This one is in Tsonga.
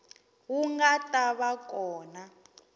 wu nga ta va kona